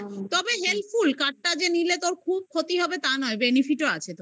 হ্যা. তবে helpful card টা যে নিলে তোর খুব ক্ষতি হবে তা নয়. benefit ও আছে তোর